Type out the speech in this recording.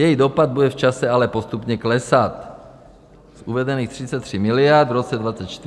Její dopad bude v čase ale postupně klesat z uvedených 33 miliard v roce 2024 až na nulu.